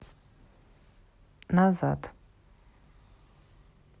назад